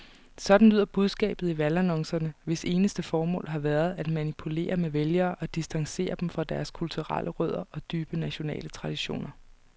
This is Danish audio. Sådan lyder budskabet i valgannoncerne, hvis eneste formål har været at manipulere med vælgere og distancere dem fra deres kulturelle rødder og dybe nationale traditioner.